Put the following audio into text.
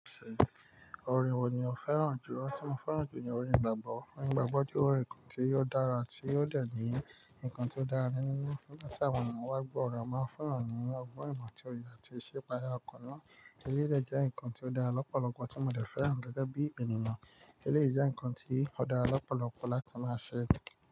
Orin wo ni o fẹ́ràn jùlọ? Tí mo fẹ́ràn jù ni orin igbàgbọ́. Orin igbàgbọ́ jẹ́ orin kan tí ò dára tí ò dẹ̀ ní ńǹkan tí ó dára nínú. Nígbà tí àwọn ènìyàn bá gbọ́ ọ̀rọ̀ e, o máa ń fun n yàn ní ọgbọ́n ìmọ̀ atí óye àti ìsipaya ọkàn náà. Eléyìí dẹ̀ jẹ́ ǹkan tí ó dára lọ́pọ̀lọpọ̀ tí mo dẹ̀ fẹ́ràn gẹ́gẹ́ bí ènìyàn. Eléyií jẹ́ ǹkan tí ó dára lọ́pọ̀lọpọ̀ láti máa ṣe.